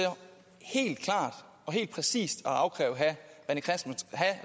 helt klart og helt præcist at afkræve herre